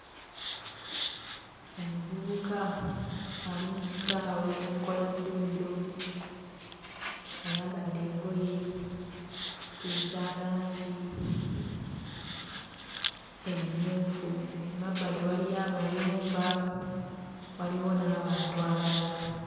Omuvubuka ali mu kisaawe akola dduyiro ayambadde engoye eza langi emmyufu emabbali waliyo amayumba waliwo n'abantu abalala.